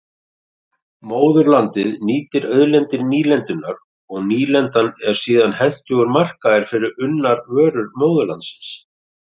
Móðurlandið nýtir auðlindir nýlendunnar og nýlendan er síðan hentugur markaður fyrir unnar vörur móðurlandsins.